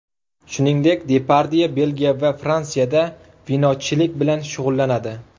Shuningdek, Depardye Belgiya va Fransiyada vinochilik bilan shug‘ullanadi.